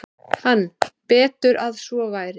Hann: Betur að svo væri.